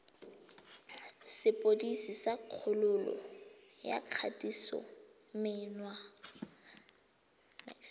sepodisi sa kgololo ya kgatisomenwa